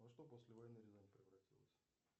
во что после войны рязань превратилась